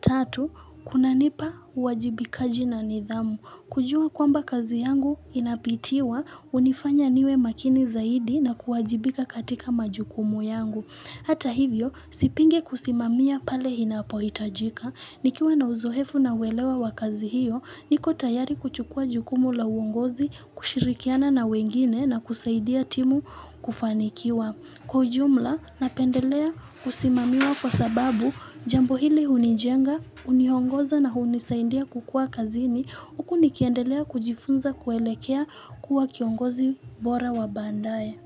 Tatu, kunanipa uwajibikaji na nidhamu. Kujua kwamba kazi yangu inapitiwa, hunifanya niwe makini zaidi na kuwajibika katika majukumu yangu. Hata hivyo, sipingi kusimamia pale inapohitajika. Nikiwa na uzoefu na uelewa wa kazi hiyo, niko tayari kuchukua jukumu la uongozi, kushirikiana na wengine na kusaidia timu kufanikiwa. Kwa ujumla, napendelea kusimamiwa kwa sababu, jambo hili hunijenga, uniongoza na unisaindia kukua kazini, huku nikendelea kujifunza kuelekea kuwa kiongozi bora wa baadae.